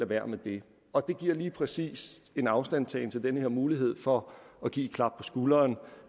være med det og det giver lige præcis en afstandtagen til den her mulighed for at give et klap på skulderen